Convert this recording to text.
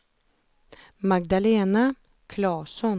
Magdalena Klasson